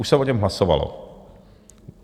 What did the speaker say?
Už se o něm hlasovalo.